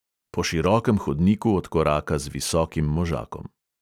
Po širokem hodniku odkoraka z visokim možakom.